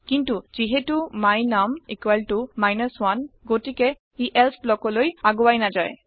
কিন্তু যিহেটো my num 1 গতিকে ই এলছে ব্লকলৈ আগুৱাই নাযায়